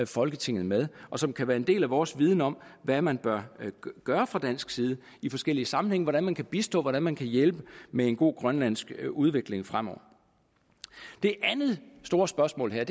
folketinget med og som kan være en del af vores viden om hvad man bør gøre fra dansk side i forskellige sammenhænge hvordan man kan bistå hvordan man kan hjælpe med en god grønlandsk udvikling fremover det andet store spørgsmål er